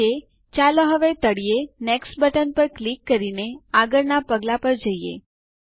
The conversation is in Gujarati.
ઠીક છે ચાલો હવે તળિયે નેક્સ્ટ બટન પર ક્લિક કરીને આગળના પગલાં પર જઈએ